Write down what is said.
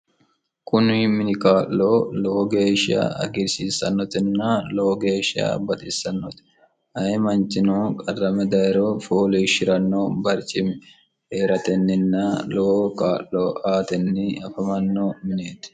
kuni mini kaa'lo lowo geesha hagirsiissannotenna lowo geesha baxiissannoti ayi manchino qarrame dayiro fooliishshi'ranno barcimi heratenninna lowo kaa'lo aatenni afamanno mineeti